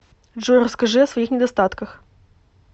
джой расскажи о своих недостатках